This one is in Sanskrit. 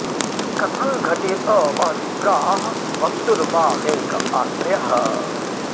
कथं घटेत वः विप्राः वक्तुः वा मे कः आश्रयः